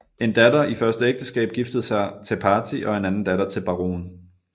En datter i første ægteskab giftede sig Tepati og en anden datter til Barohn